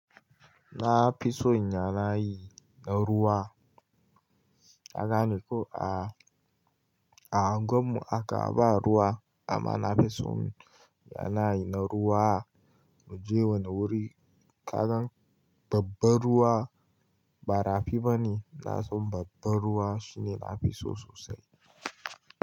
Na fi son yanayi na ruwa. Ka gane ko a, a unguwar mu haka ba ruwa amma na fi son yanayi na ruwa. Mu je wani wuri, kagan babban ruwa ba rafi bane. Na san babban ruwa shine nafi so sosai.